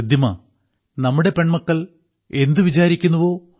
റിദ്ദിമ നമ്മുടെ പെൺമക്കൾ എന്തു വിചാരിക്കുന്നുവോ